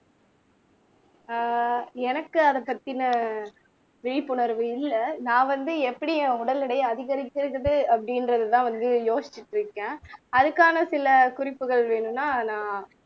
ஆஹ் எனக்கு அதைப் பத்தின விழிப்புணர்வு இல்ல நான் வந்து எப்படி என் உடல் எடையை அதிகரிச்சிருக்குது அப்படின்றதுதான் வந்து யோசிச்சுட்டு இருக்கேன் அதுக்கான சில குறிப்புகள் வேணும்ன்னா நான்